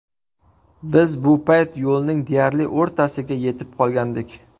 Biz bu payt yo‘lning deyarli o‘rtasiga yetib qolgandik.